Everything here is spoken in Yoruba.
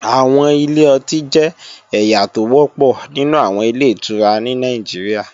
Àwọn ilé ọtí jẹ́ ẹ̀yà tó wọ́pọ̀ nínú àwọn Ilé-ìtura ní Nàìjíríà